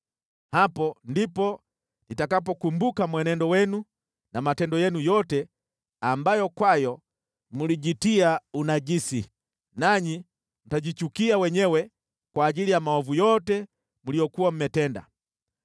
Hapo ndipo nitakapokumbuka mwenendo wenu na matendo yenu yote ambayo kwayo mlijitia unajisi, nanyi mtajichukia wenyewe kwa ajili ya maovu yote mliyokuwa mmetenda.